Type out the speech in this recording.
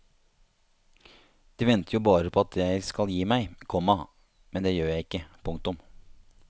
De venter jo bare på at jeg skal gi meg, komma men det gjør jeg ikke. punktum